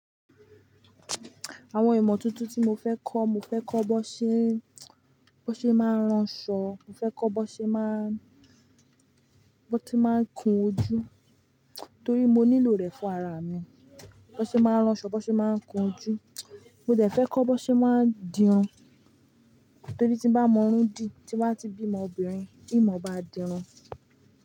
Àwọn ìmọ̀ tuntun tí mo fẹ́ kọ́, mo fẹ́ kọ́ bón ṣe, bón ṣe máa ń ránṣọ, mo fẹ́ kọ́ bón ṣe máa, bón ti máa ń kun ojú torí mo nílò rẹ̀ fún ara mi. Bó ṣe máa ń ránṣọ, bó ṣe máa ń kun ojú. Mo de fẹ́ kọ́ bón ṣe máa ń dirun torí tí bá mọrún dí, tí bá ti bí ọmọbìnrin, ìimon bá dirun.